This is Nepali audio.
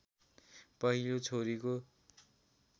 पहिलो छोरीको